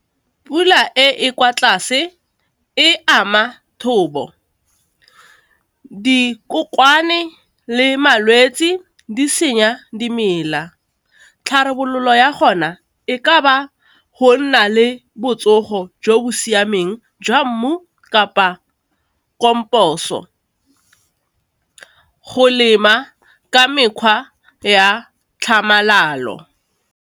Pula e e kwa tlase e ama thobo, dikokwane le malwetsi di senya dimela, tlhabololo ya gona e ka ba go nna le botsogo jo bo siameng jwa mmu kapa go lema ka mekgwa ya tlhamalalo.